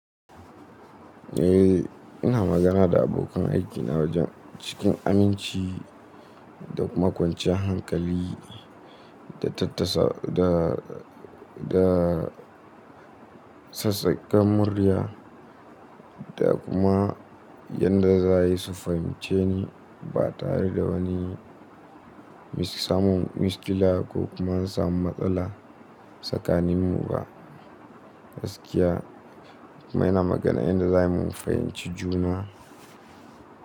Eh ina magana da abokan aikina wajen cikin aminci da kuma kwanciyar hankali da tattasa da, da sassakan murya da kuma yadda za su fahimce ni ba tare da wani samun miskila ko kuma an samu matsala a tsakaninmu ba. Gaskiya, kuma ina magana yadda za mu fahimci juna.